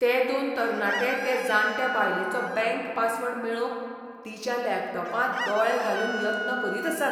ते दोन तरणाटे ते जांटे बायलेचो बँक पासवर्ड मेळोवंक तिच्या लॅपटॉपांत दोळे घालून यत्न करीत आसात.